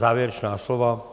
Závěrečná slova?